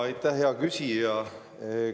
Aitäh, hea küsija!